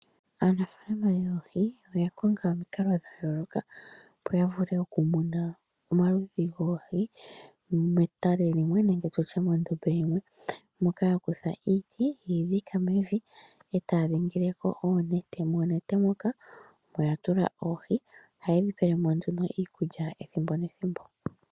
Aanafalama yoohi oyakonga omikalo dhayolokathana opo ya vule okumuna omaludhi goohi metale limwe nande tutye mondombe yimwe moka yakutha iiti ye yi dhika mevi etaa dhingileko oonete nomoonete moka ohaatulamo oohi noha ye dhipelemo iikulya ethimbo nethimbo.